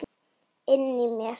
Inni í mér.